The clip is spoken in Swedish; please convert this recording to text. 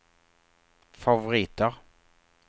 favoriter